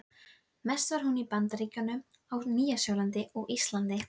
Mest var hún í Bandaríkjunum, á Nýja-Sjálandi og Íslandi.